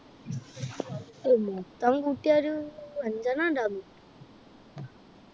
മൊത്തം കൂട്ട്യാ ഒരു അഞ്ചേണ്ണം ഉണ്ടാവും.